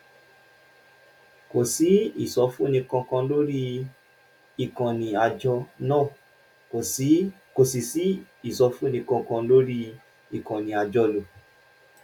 kò sí ìsọfúnni kankan lórí ìkànnì àjọ náà kò sì sí ìsọfúnni kankan lórí ìkànnì àjọlò